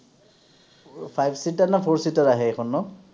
five seater নে four seater আহে এইখন ন?